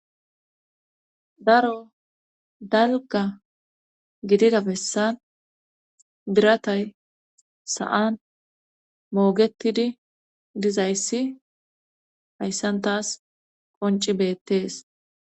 Daro dalgga giidiida bessan biiratay sa'an moogetidii dizayssi hayssan taas qoncci beettees